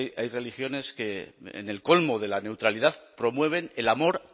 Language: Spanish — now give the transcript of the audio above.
hay religiones que en el colmo de la neutralidad promueven el amor